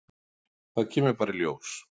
Það kemur bara í ljós